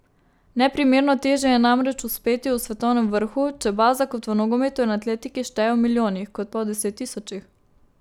Neprimerno težje je namreč uspeti v svetovnem vrhu, če baza, kot v nogometu in atletiki, šteje v milijonih, kot pa v deset tisočih.